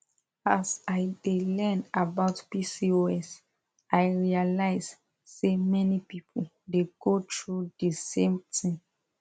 as i dey learn about pcos i realize say many people dey go through the same thing